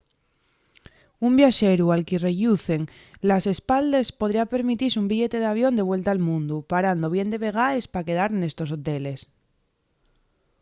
un viaxeru al que-y relluzan les espaldes podría permitise un billete d'avión de vuelta al mundu parando bien de vegaes pa quedar nestos hoteles